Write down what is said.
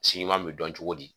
Si ɲuman bɛ dɔn cogo di